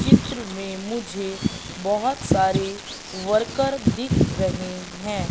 चित्र में मुझे बहुत सारे वर्कर दिख रहे हैं।